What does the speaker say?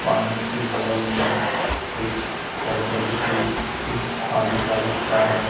पानी के बगल में कुछ करकट भी कुछ झाड़ी टाइप का है।